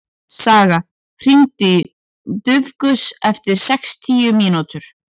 Saga, hringdu í Dufgus eftir sextíu mínútur.